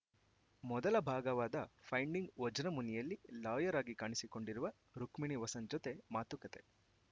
ಮೊದಲ ಭಾಗವಾದ ಫೈಂಡಿಂಗ್‌ ವಜ್ರಮುನಿಯಲ್ಲಿ ಲಾಯರ್‌ ಆಗಿ ಕಾಣಿಸಿಕೊಂಡಿರುವ ರುಕ್ಮಿಣಿ ವಸಂತ್‌ ಜತೆ ಮಾತುಕತೆ